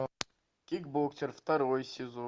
кикбоксер второй сезон